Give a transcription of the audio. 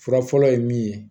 Fura fɔlɔ ye min ye